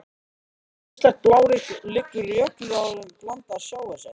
Mislægt á blágrýtinu liggur jökulruðningur blandaður sjávarseti.